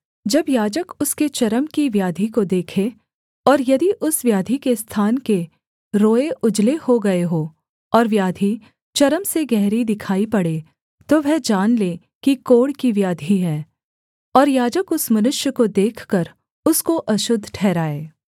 जब याजक उसके चर्म की व्याधि को देखे और यदि उस व्याधि के स्थान के रोएँ उजले हो गए हों और व्याधि चर्म से गहरी दिखाई पड़े तो वह जान ले कि कोढ़ की व्याधि है और याजक उस मनुष्य को देखकर उसको अशुद्ध ठहराए